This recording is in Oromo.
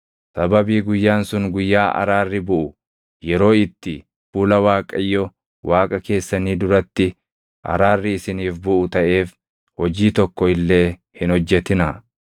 Sababii guyyaan sun Guyyaa Araarri Buʼu, yeroo itti fuula Waaqayyo Waaqa keessanii duratti araarri isiniif buʼu taʼeef hojii tokko illee hin hojjetinaa.